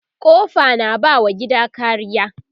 kofa na ba wa gida kariya